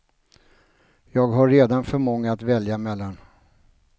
Jag har redan för många att välja mellan.